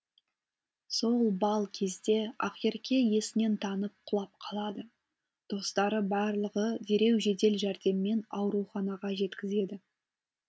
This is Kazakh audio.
сол балл кезде ақерке есінен танып құлап қалады достары барлығы дереу жедел жәрдеммен ауруханаға жеткізеді